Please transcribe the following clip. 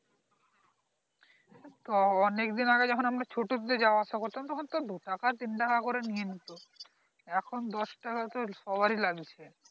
অনেক দিন আগে যখন আমরা ছোটতে যাওয়া আসা করতাম তখন তো দু টাকা তিন টাকা করে নিয়ে নিতো এখন দশ টাকা তো সবারই লাগছে